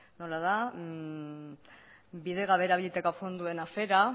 nola da bidegabe erabilitako fondoen afera